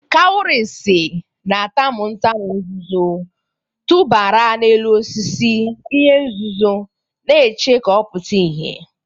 Kawurisi na-atamu ntamu nzuzo, tụbara n'elu osisi, ihe nzuzo na-eche ka ọ pụta ìhè.